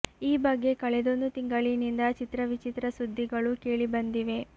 ಈ ಬಗ್ಗೆ ಕಳೆದೊಂದು ತಿಂಗಳಿನಿಂದ ಚಿತ್ರ ವಿಚಿತ್ರ ಸುದ್ದಿಗಳು ಕೇಳಿ ಬಂದಿವೆ